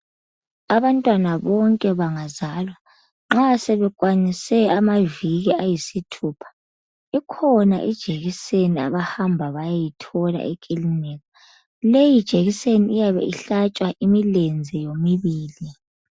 Abantwana bonke bangazalwa nxa sebekwanise amaviki ayisithupha ikhona ijekiseni abahamba bayeyithola ekilinika. Leyi jekiseni iyabe ihlatshwa imilenze yomibili.